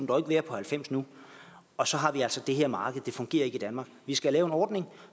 dog ikke være på halvfems nu og så har vi altså det her marked det fungerer ikke i danmark vi skal lave en ordning